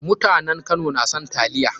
Mutanen Kano na son taliya.